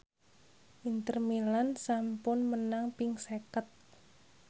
Inter Milan sampun menang ping seket